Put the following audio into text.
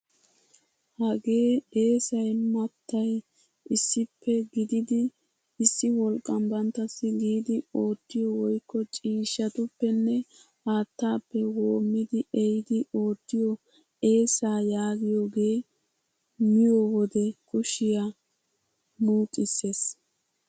Hagee eessay mattay issippe gididi issi wolqqan banttassi giidi oottiyoo woykko ciishshatuppenne haattaappe woommidi ehidi ootiyoo eessaa yaagiyooge miyoo wode kushiyaa muuxissees!